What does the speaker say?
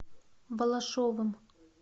балашовым